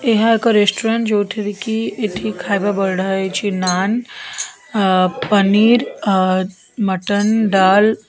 ଏହା ଏକ ରେଷ୍ଟୁରାଣ୍ଟ ଯୋଉଠାରେ କି ଏଠି ଖାଇବା ବଢ଼ା ହେଇଛି ନାନ୍ ଆ ପନୀର୍ ଅ ମଟନ ଡାଲ ।